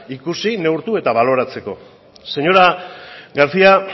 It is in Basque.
ikusi neurtu eta baloratzeko señora garcía